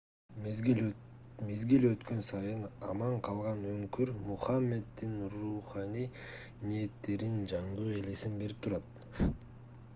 мезгил өткөн сайын аман калган үңкүр мухаммеддин руханий ниеттеринин жандуу элесин берип турат